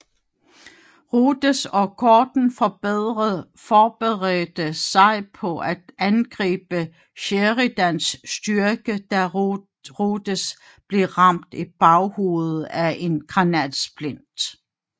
Rodes og Gordon forberedte sig på at angribe Sheridans styrker da Rodes blev ramt i baghovedet af en granatsplint